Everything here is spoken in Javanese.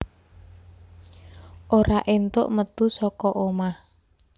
Ora éntuk metu saka omah